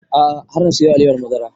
A'a har na siyo alewar madara